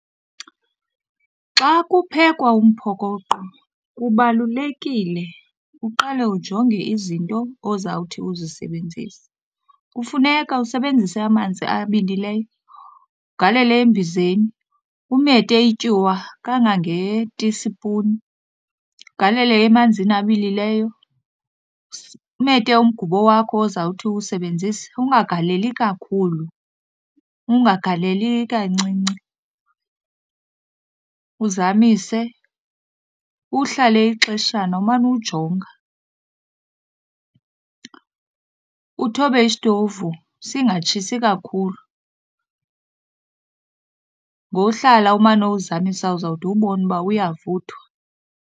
Xa kuphekwa umphokoqo kubalulekile uqale ujonge izinto ozawuthi uzisebenzise. Kufuneka usebenzise amanzi abilileyo, ugalele embizeni, umete ityuwa kangangetisipuni ugalele emanzini abilileyo. Umete umgubo wakho ozawuthi uwusebenzise, ungagaleli kakhulu ungagaleli kancinci, uzamise. Uhlale ixeshana umane uwujonga, uthobe isitovu singatshisi kakhulu. Ngohlala umane uwuzamisa uzawude uwubone uba uyavuthwa.